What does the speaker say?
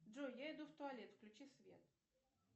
джой я иду в туалет включи свет